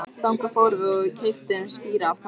Þangað fórum við og keyptum spíra af karlinum.